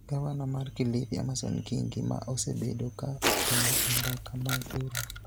Gavana mar Kilifi, Amason Kingi, ma osebedo ka otelo e mbaka mag riwruok